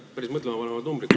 Päris mõtlema panevad numbrid.